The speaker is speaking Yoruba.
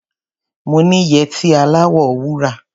Mo ní yẹtí aláwọ̀ wúrà.